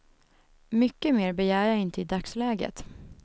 Mycket mer begär jag inte i dagsläget.